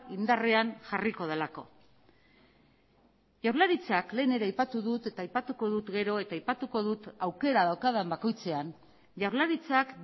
indarrean jarriko delako jaurlaritzak lehen ere aipatu dut eta aipatuko dut gero eta aipatuko dut aukera daukadan bakoitzean jaurlaritzak